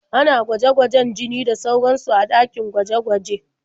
Ana gwaje-gwajen jini da sauransu a ɗakin gwaje-gwaje.